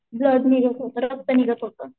Blood निघत होत रक्त निघत होत.